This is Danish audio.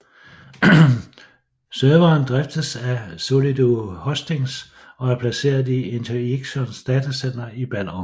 Serveren driftes af Solido Hosting og er placeret i Interxions datacenter i Ballerup